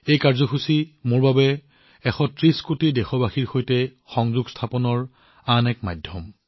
এই কাৰ্যসূচী মোৰ বাবে ১৩০ কোটি দেশবাসীৰ সৈতে সংযোগ স্থাপনৰ আন এটা মাধ্যম